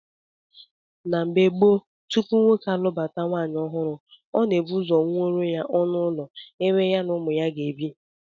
N'oge gboo, tupu nwoke alụbata nwaanyị ọhụrụ, ọ na-ebu ụzọ wuoro ya ọnụụlọ ebe ya na ụmụ ya ga-ebi